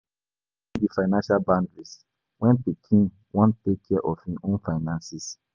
Boundaries fit be financial boundaries, when pikin wan take care of im own finances